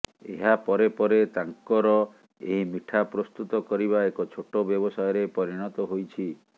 ଏହାପରେ ପରେ ତାଙ୍କର ଏହି ମିଠା ପ୍ରସ୍ତୁତ କରିବା ଏକ ଛୋଟ ବ୍ୟବସାୟରେ ପରିଣତ ହୋଇଛି